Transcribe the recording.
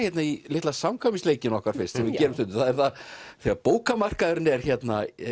í litla okkar fyrst sem við gerum stundum það er þegar bókamarkaðurinn er hérna